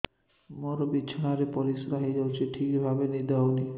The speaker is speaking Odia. ମୋର ବିଛଣାରେ ପରିସ୍ରା ହେଇଯାଉଛି ଠିକ ଭାବେ ନିଦ ହଉ ନାହିଁ